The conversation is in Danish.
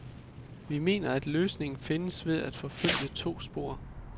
Vi mener, at løsningen findes ved at forfølge to spor.